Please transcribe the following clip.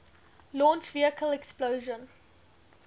launch vehicle explosion